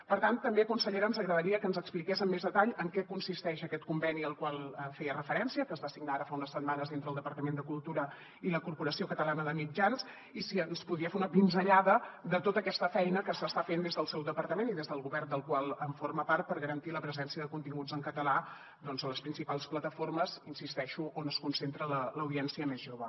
per tant també consellera ens agradaria que ens expliqués amb més detall en què consisteix aquest conveni al qual feia referència que es va signar ara fa unes setmanes entre el departament de cultura i la corporació catalana de mitjans i si ens podria fer una pinzellada de tota aquesta feina que s’està fent des del seu departament i des del govern del qual forma part per garantir la presència de continguts en català a les principals plataformes hi insisteixo on es concentra l’audiència més jove